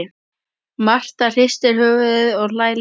Marta hristir höfuðið og hlær líka.